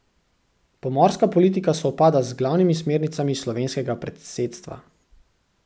Pomorska politika sovpada z glavnimi smernicami slovenskega predsedstva.